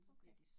Okay